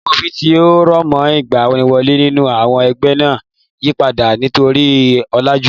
Àwọn òfin tí ó rọ̀mọ́ ìgbaniwọlé nínú àwọn ẹgbẹ́ máa yípadà nítorí ọ̀làjú.